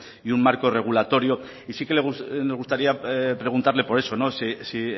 y un marco regulatorio sí me gustaría preguntarle por eso si